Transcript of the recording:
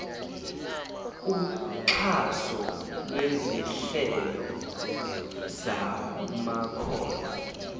uxhaso lwezinhlelo zamakhono